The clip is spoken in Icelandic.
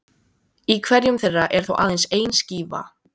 Í hverjum þeirra er þó aðeins ein skífa.